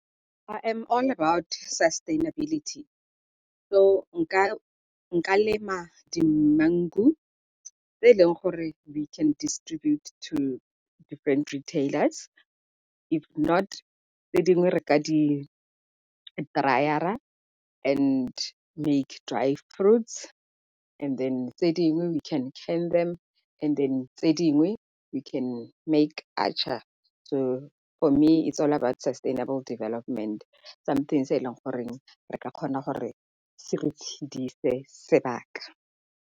I am all about sustainability so nka lema di-mango tse e leng gore we can distribute to different retailers if not tse dingwe re ka di-dryer-ra and make dry fruits, and then tse dingwe we can can them, tse dingwe we can make atchar. So for me is all about sustainable development. Something se e leng goreng re ka kgona gore se re tshedise sebaka.